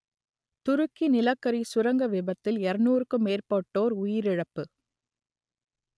துருக்கி நிலக்கரி சுரங்க விபத்தில் இருநூறுக்கும் மேற்பட்டோர் உயிரிழப்பு